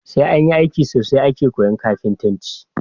Sai anyi aiki sosai ake koyan kafintanci